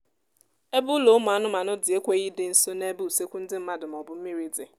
ebe ụlọ ụmụ anụmanụ dị ekweghị ịdị nso n'ebe usekwu ndị mmadụ maọbụ mmiri dị